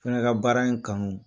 Fɛnɛ ka baara in kanu.